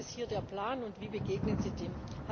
Was ist hier der Plan, und wie begegnen Sie dem?